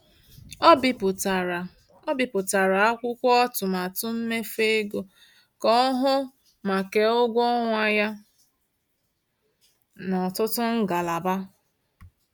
Ọ bipụtara Ọ bipụtara akwụkwọ atụmatụ mmefu ego ka ọ hụ ma kee ụgwọ ọnwa ya n’ọtụtụ ngalaba.